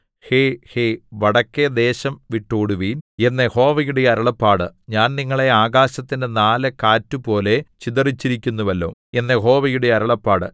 ഹേ ഹേ വടക്കെ ദേശം വിട്ടോടുവിൻ എന്നു യഹോവയുടെ അരുളപ്പാട് ഞാൻ നിങ്ങളെ ആകാശത്തിന്റെ നാല് കാറ്റുപോലെ ചിതറിച്ചിരിക്കുന്നുവല്ലോ എന്നു യഹോവയുടെ അരുളപ്പാട്